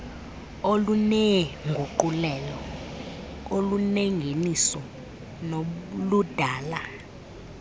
oluneenguqulelo olunengeniso noludala